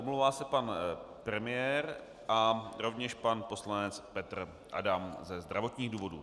Omlouvá se pan premiér a rovněž pan poslanec Petr Adam ze zdravotních důvodů.